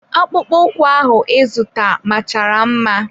Akpụkpọ ụkwụ ahụ ịzụta machara mma.